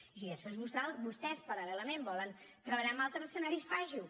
i si després vostès paral·lelament volen treballar amb altres escenaris facin ho